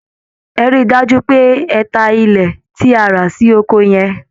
Ẹ rí i dájú pé ẹ ta ilé tí a rà sí oko yẹn!